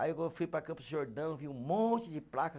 Aí eu fui para Campos do Jordão, vi um monte de placa.